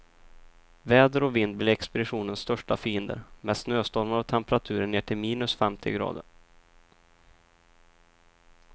Väder och vind blir expeditionens största fiender, med snöstormar och temperaturer ner till minus femtio grader.